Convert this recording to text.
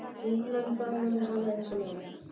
Vinkonan faðmaði hana eins og móðir.